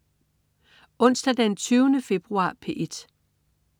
Onsdag den 20. februar - P1: